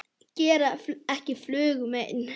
Gera ekki flugu mein.